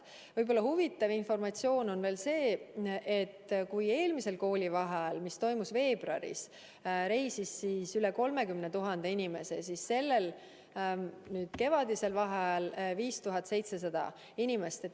Võib-olla huvitav informatsioon on veel see, et kui eelmisel koolivaheajal, mis oli veebruaris, reisis üle 30 000 inimese, siis sellel kevadisel vaheajal 5700 inimest.